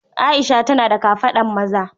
Aisha tana da kafadan maza.